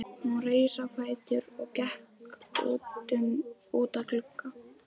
Hún reis á fætur og gekk út að glugga.